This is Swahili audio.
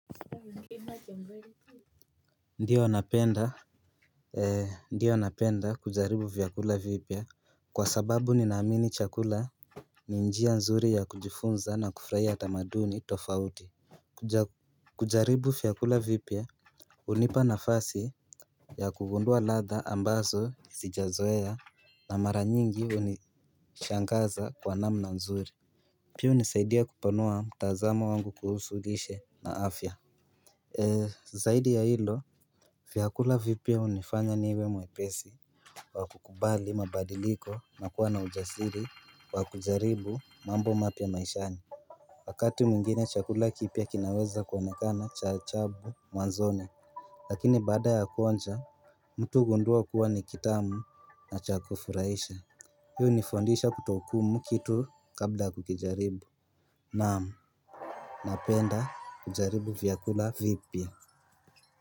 Ndiyo napenda ndiyo napenda kujaribu vyakula vipya kwa sababu ninaamini chakula ni njia nzuri ya kujifunza na kufurahia tamaduni tofauti. Kujaribu vyakula vipya hunipa nafasi ya kugundua ladha ambazo sijazoea na mara nyingi hunishangaza kwa namna nzuri. Pia hunisaidia kupanua mtazamo wangu kuhusu lishe na afya. Zaidi ya hilo, vyakula vipya hunifanya niwe mwepesi wa kukubali mabadiliko na kuwa na ujasiri wa kujaribu mambo mapya maishani. Wakati mwingine chakula kipya kinaweza kuonekana cha ajabu mwanzoni. Lakini baada ya kuonja, mtu hugundua kuwa ni kitamu na cha kufurahisha hii hunifundisha kutohukumu kitu kabla kukijaribu naam, napenda kujaribu vyakula vipya.